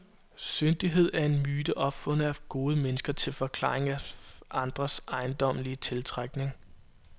Syndighed er en myte opfundet af gode mennesker til forklaring af andres ejendommelige tiltrækning.